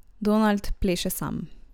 Donald pleše sam.